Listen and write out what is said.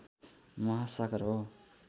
महासागर हो